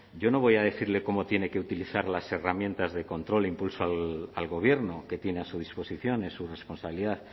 yo no voy a decirle cómo tiene que utilizar las herramientas de control e impulso al gobierno que tiene a su disposición es su responsabilidad